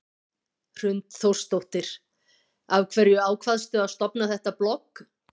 Hrund Þórsdóttir: Af hverju ákvaðstu að stofna þetta blogg?